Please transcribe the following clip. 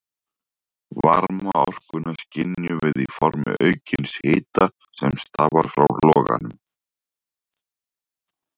Varmaorkuna skynjum við í formi aukins hita sem stafar frá loganum.